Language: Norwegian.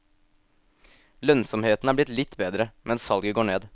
Lønnsomheten er blitt litt bedre, men salget går ned.